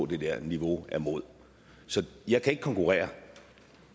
det der niveau af imod så jeg kan ikke konkurrere